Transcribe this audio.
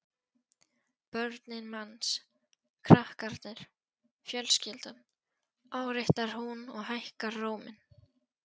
Börnin manns, krakkarnir, fjölskyldan, áréttar hún og hækkar róminn.